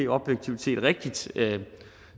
objektivt set er rigtigt